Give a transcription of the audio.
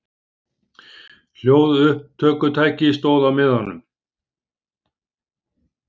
HLJÓÐUPPTÖKUTÆKI stóð á miðanum.